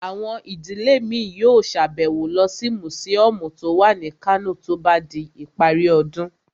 Àwọn ìdílé mi yóò sàbẹ̀wo lọ sí mùsíọ̀mù tó wà ní Kano tó bá di ìparí ọdún